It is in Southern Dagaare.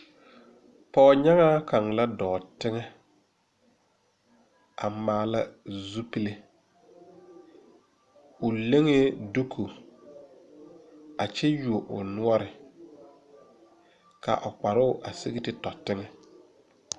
Pogenyaaŋa kanga la doo teŋe a maala zupule. O lenge duku a kyɛ yuoɔ o nuore. Ka a o kparo a sig te to teŋe.